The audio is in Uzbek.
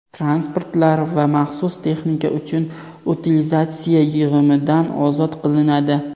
transportlar va maxsus texnika uchun utilizatsiya yig‘imidan ozod qilinadi;.